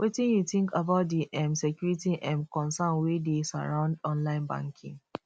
wetin you think about di um security um concerns wey dey surround online banking